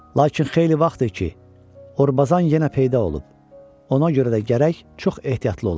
Lakin xeyli vaxtdır ki, Orbazan yenə peyda olub, ona görə də gərək çox ehtiyatlı olaq.